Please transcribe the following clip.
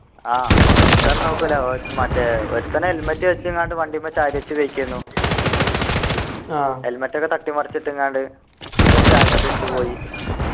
ആഹ് എന്താന്ന് നോക്കൂല ഓ മറ്റേ ഒരുത്തൻ helmet വെച്ചെങ്ങാണ്ട് വണ്ടിമ്മ ചാരി വച്ച് കഴിക്കായിരുന്നു helmet ഒക്കെ തട്ടി മറിച്ച്ട്ട്ങാണ്ട് ഓൻ്റെ ചായപ്പൊടി എടുത്തു പോയി